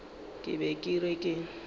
ke be ke re ke